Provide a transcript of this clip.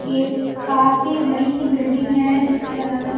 ये काफी बड़ी सी बिल्डिंग है जिसके अलग अलग--